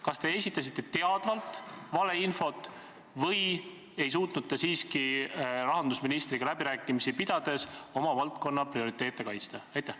Kas te esitasite teadvalt valeinfot või ei suutnud te rahandusministriga läbirääkimisi pidades oma valdkonna prioriteete kaitsta?